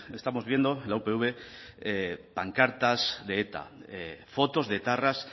estamos viendo en la upv pancartas de eta fotos de etarras